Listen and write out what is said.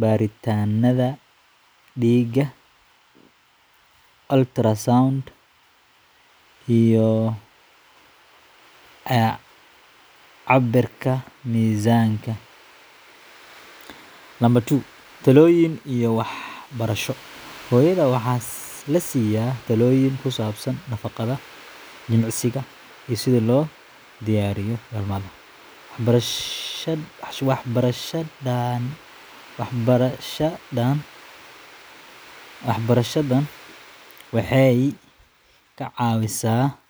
baaritaannada dhiigga, ultrasound, iyo cabirka miisaanka. Talooyin iyo Waxbarasho Hooyada waxaa la siiya talooyin ku saabsan nafaqada, jimicsiga, iyo sida loo diyaariyo dhalmada. Waxbarashadani waxay ka caawisaa inay fahmaan waxa dhici doona.